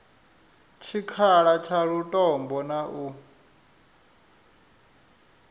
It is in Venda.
tshikhala tsha lutombo na u